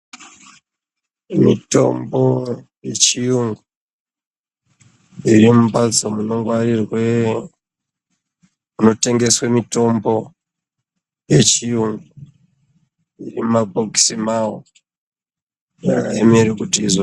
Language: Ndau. Mitombo yechiyungu iri mumbatso munongwarirwe, munotengeswe mitombo yechiyungu, iri mumabhokisi mavo haiemeri kuti izo.....